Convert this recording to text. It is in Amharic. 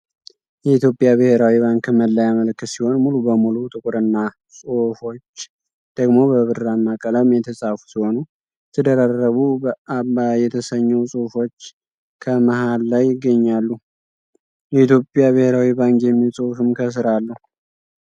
የኢትዮጵያ ብሔራዊ ባንክ መለያ ምልክት ሲሆን ሙሉ በሙሉ ጥቁርና ጹሁፎች ደግሞ በብራማ ቀለም የተፃፉ ሲሆኑ የተደራረቡ ብአባ የተሰኘው ጽሁፎች ከመሃል ላይ ይገኛሉ። የኢትዮጵያ ብሔራዊ ባንክ የሚል ጽሁፍም ከስር አለው።